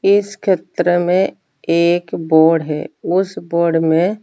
इस खित्र में एक बोण उस बोण में--